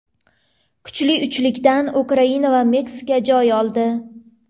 Kuchli uchlikdan Ukraina va Meksika joy oldi.